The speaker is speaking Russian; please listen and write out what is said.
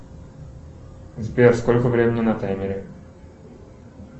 сбер сколько времени на таймере